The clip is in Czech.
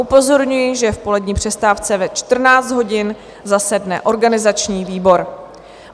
Upozorňuji, že v polední přestávce ve 14 hodin zasedne organizační výbor.